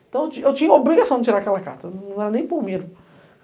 Então, eu tinha tinha a obrigação de tirar aquela carta, não era nem por medo.